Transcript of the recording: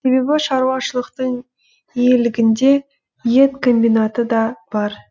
себебі шаруашылықтың иелігінде ет комбинаты да бар